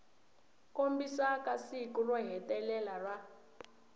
kombisaka siku ro hetelela ra